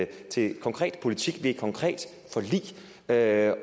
til konkret politik ved et konkret forlig når jeg